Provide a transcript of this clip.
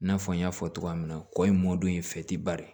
I n'a fɔ n y'a fɔ cogoya min na kɔɲɔ mɔdɛli in